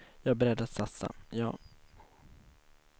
Jag är beredd att satsa, ja.